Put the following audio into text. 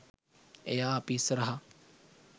එයා අපි ඉස්සරහා